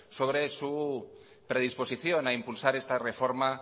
sobre su predisposición a impulsar esta reforma